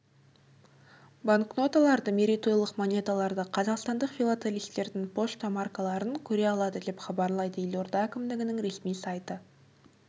банкноталарды мерейтойлық монеталарды қазақстандық филателистердің пошта маркаларын көре алады деп хабарлайды елорда әкімдігінің ресми сайты